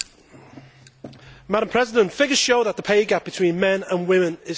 Madam President, figures show that the pay gap between men and women is still large.